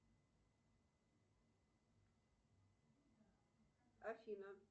афина